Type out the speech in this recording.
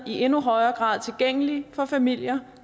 i endnu højere grad tilgængelige for familier